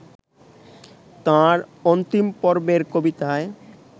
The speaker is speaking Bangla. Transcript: তাঁর অন্তিমপর্বের কবিতায়